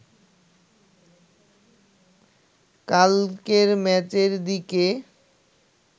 কালকের ম্যাচের দিকে